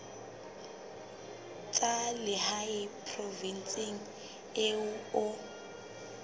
tsa lehae provinseng eo o